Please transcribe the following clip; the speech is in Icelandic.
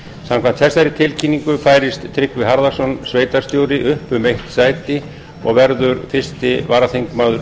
samkvæmt þessari tilkynningu færist tryggvi harðarson sveitarstjóri upp um eitt sæti og verður fyrsti varaþingmaður